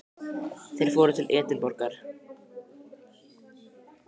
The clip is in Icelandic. Þeir fóru til Edinborgar.